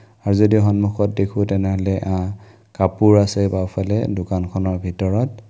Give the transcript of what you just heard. আৰু যদি সন্মুখত দেখো তেনেহ'লে আ কাপোৰ আছে বাওঁফালে দোকান খনৰ ভিতৰত।